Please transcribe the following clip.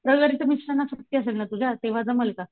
रविवारी तर मिस्टरांना सुट्टी असेल ना तुझ्या तेंव्हा जमेल का ?